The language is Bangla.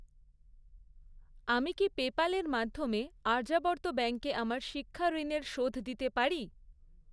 আমি কি পেপ্যালের মাধ্যমে আর্যাবর্ত ব্যাঙ্কে আমার শিক্ষাঋণের শোধ দিতে পারি?